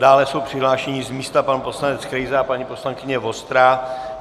Dále jsou přihlášeni z místa pan poslanec Krejza a paní poslankyně Vostrá.